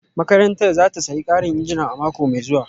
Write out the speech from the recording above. Makarantar za ta sayi karin injina a mako mai zuwa